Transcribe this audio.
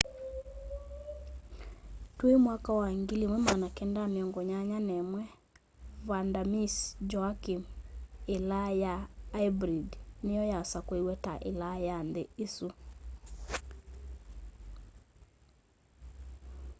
twi 1981 vanda miss joaquim ilaa ya aibrid niyo yasakuiwe ta ilaa ya nthi isu